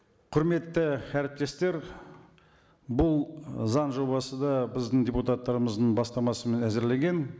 құрметті әріптестер бұл заң жобасы да біздің депутаттарымыздың бастамасымен әзірленген